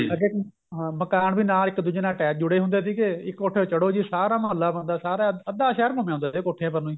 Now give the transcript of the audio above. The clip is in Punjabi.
ਅੱਗੇ ਹਾਂ ਮਕਾਨ ਵੀ ਇੱਕ ਦੂਜੇ ਨਾਲ attach ਜੁੜੇ ਹੁੰਦੇ ਸੀਗੇ ਇੱਕ ਕੋਠੇ ਤੇ ਚੜੋ ਜੀ ਸਾਰਾ ਮਹੱਲਾ ਬੰਦਾ ਸਾਰਾ ਅੱਧਾ ਸ਼ਹਿਰ ਘੁੰਮ ਆਉਂਦਾ ਸੀ ਕੋਠਿਆਂ ਪਰ ਨੂੰ ਹੀ